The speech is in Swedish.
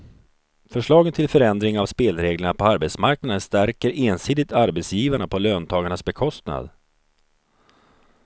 Förslagen till förändring av spelreglerna på arbetsmarknaden stärker ensidigt arbetsgivarna på löntagarnas bekostnad.